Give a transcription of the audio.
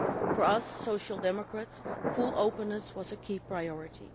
For us, the Social Democrats, full openness was a key priority.